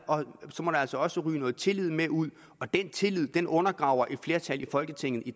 altså også ryge noget tillid med ud og den tillid undergraver et flertal i folketinget i